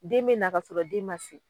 Den be na ka sɔrɔ den ma se .